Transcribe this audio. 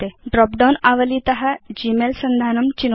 drop down आवलीत Gmail सन्धानं चिनोतु